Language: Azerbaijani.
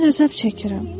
mən əzab çəkirəm.